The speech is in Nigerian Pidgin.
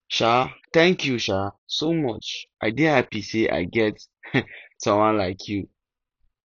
um thank you um so much i dey happy say i get um someone like you